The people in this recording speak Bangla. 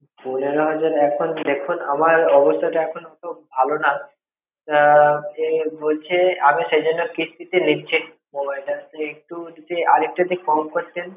পনেরো হাজার এখন দেখুন আমার অবস্থাটা এখন অত ভালো না তা এ বলছে আমি সেইজন্যে কিস্তি তে নিচ্ছি mobile তা তা আর একটু যদি কম করতেন